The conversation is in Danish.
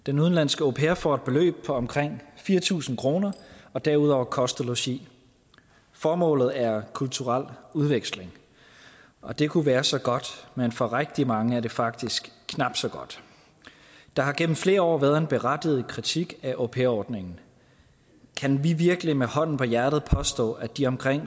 den udenlandske au pair får et beløb på omkring fire tusind kroner og derudover kost og logi formålet er kulturel udveksling og det kunne være så godt men for rigtig mange er det faktisk knap så godt der har igennem flere år været en berettiget kritik af au pair ordningen kan vi virkelig med hånden på hjertet påstå at de omkring